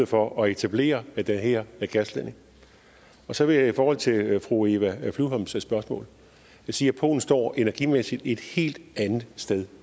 for at etablere den her gasledning så vil jeg i forhold til fru eva flyvholms spørgsmål sige at polen står energimæssigt et helt andet sted